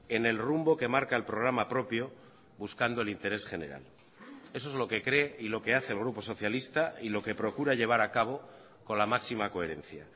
en el rumbo que marca el programa propio buscando el interés general eso es lo que cree y lo que hace el grupo socialista y lo que procura llevar a cabo con la máxima coherencia